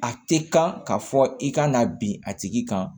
A tɛ kan ka fɔ i ka na bin a tigi kan